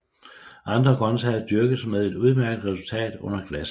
Andre grøntsager dyrkes med et udmærket resultat under glas